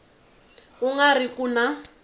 ku nga ri ku na